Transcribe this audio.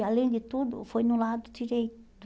E, além de tudo, foi no lado direito.